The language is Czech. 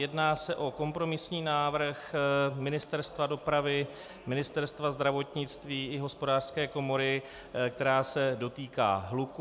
Jedná se o kompromisní návrh Ministerstva dopravy, Ministerstva zdravotnictví i Hospodářské komory, který se dotýká hluku.